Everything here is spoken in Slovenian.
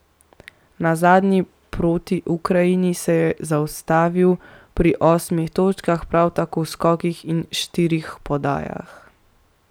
Na zadnji proti Ukrajini se je zaustavil pri osmih točkah, prav toliko skokih in štirih podajah.